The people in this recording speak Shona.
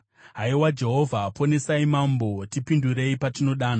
Haiwa Jehovha, ponesai mambo! Tipindurei patinodana!